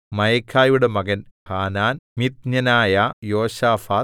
മയഖയുടെ മകൻ ഹാനാൻ മിത്ന്യനായ യോശാഫാത്ത്